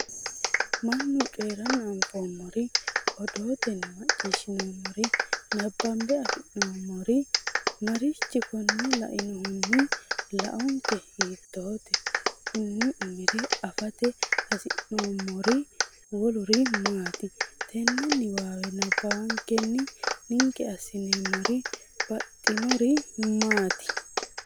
Mannu coyi’ranna anfoommori, odootenni macciishshinoommori, nabbanbe afi’noommori marichi Konne la”annohunni laonke hiittoote? Konni umire afate hasi’neemmori woluri maati? Tenne niwaawe nabbawankenni ninke assineemmori baxxinori maati?